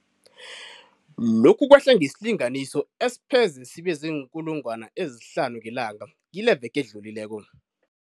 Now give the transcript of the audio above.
Lokhu kwehle ngesilinganiso esipheze sibe ziinkulungwana ezihlanu ngelanga kileveke edlulileko.